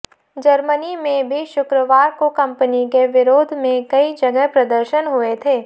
Germany में भी शुक्रवार को कंपनी के विरोध में कई जगह प्रदर्शन हुए थे